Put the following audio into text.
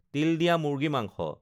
তিল দিয়া মুৰ্গী মাংস